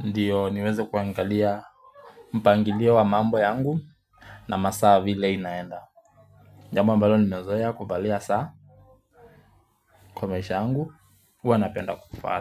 Ndiyo niwezo kuangalia. Mpangilio wa mambo yangu na masaa vile inaenda. Jambo ambalo ninazoea kuvalia saa. Kwa maisha yangu huwa napenda kuvaa saa.